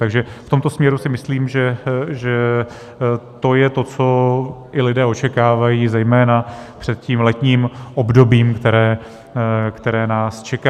Takže v tomto směru si myslím, že to je to, co i lidé očekávají zejména před tím letním obdobím, které nás čeká.